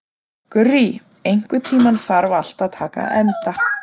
Gurrý, einhvern tímann þarf allt að taka enda.